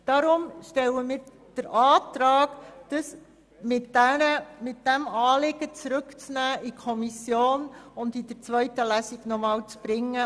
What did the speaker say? Deshalb stellen wir den Antrag, dieses Anliegen zurück in die Kommission zu geben, um es in der zweiten Lesung noch einmal vorzubringen.